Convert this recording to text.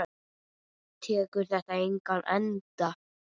Tekur þetta engan enda?